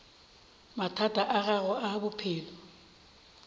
mathata a gago a bophelo